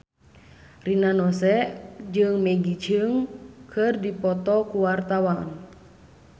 Rina Nose jeung Maggie Cheung keur dipoto ku wartawan